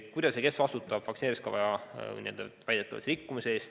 Kuidas ja kes vastutab vaktsineerimiskava väidetava rikkumise eest?